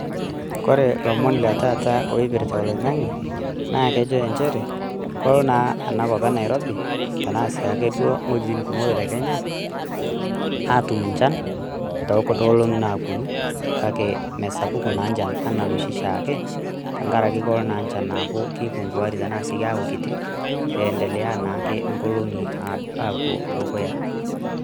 Kore ilomon le taata loipirrta oloing'ange, naa kejo enchere kolo naa enakop ena Nairobi tenaa siake duoo wuejitin kumok te Kenya, atum nchan too kuno olong'i naapuonu, kake mesapuku naa nchan ana noshi shaake tenkaraki kolo naa nchan aaku keipunguari tenaa sii keeku kiti endelea naake nkolong'i apuo dukuya.